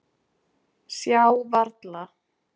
Sjá varla.